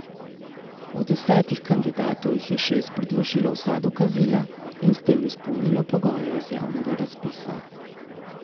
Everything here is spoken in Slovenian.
Od desetih kandidatov jih je šest predložilo vsa dokazila in s tem izpolnilo pogoje iz javnega razpisa.